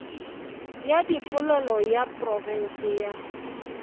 ya dipolelo ya profense ya